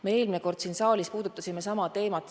Me eelmine kord siin saalis puudutasime sama teemat.